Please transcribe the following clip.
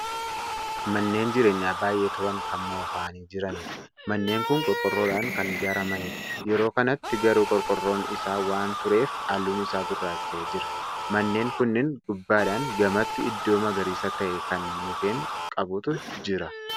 Manneen jireenyaa baay'ee Turan Kan moofa'anii jiraniidha. manneen kuni qorqoorroodhaan Kan ijaaramaniidha. yeroo kanatti garuu qorqoorroon Isaa waan tureef halluun Isaa gurraacha'ee jira. manneen kunniin gubbaadhan gamattii iddoo magariisa ta'e Kan mukkeen qabutu Jira.